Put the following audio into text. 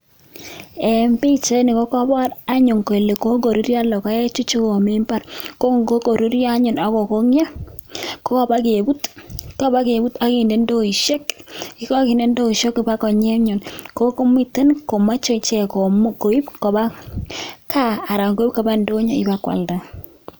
En pichaini kokobor anyun kole kokoruryo logoechu komi mbaar, kon kokoruryo anyun akokong'yo kokobokebut akinde ndoisiek kobakonyi komuch koib koba kaa anan ko ndonyo ba kwalda.